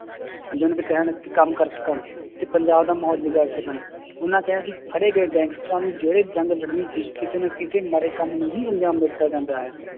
ਕੰਮ ਕਰ ਸਕਣ ਤੇ ਪੰਜਾਬ ਦਾ ਮਾਹੌਲ ਵਿਗਾੜ ਸਕਣ ਉਹਨਾਂ ਕਿਹਾ ਹੈ ਕਿ ਫੜੇ ਗਏ ਗੈਂਗਸਟਰਾਂ ਨੂੰ ਜਿਹੜੇ ਜੰਗ ਲੜਨੀ ਸੀ ਕਿਸੇ ਨਾ ਕਿਸੇ ਮਾੜੇ ਕੰਮ ਨੂੰ ਹੀ ਅਨਜਾਮ ਦਿੱਤਾ ਜਾਂਦਾ ਹੈ,